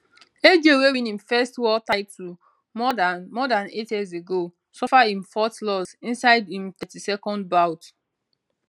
aj wey win im first world title more dan more dan eight years ago suffer im fourth loss inside im 32nd bout